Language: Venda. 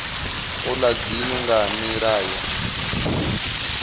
ola dzinnu nga nila yo